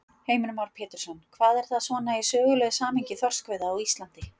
Heimir Már Pétursson: Hvað er það svona í sögulegu samhengi þorskveiða á Íslandi?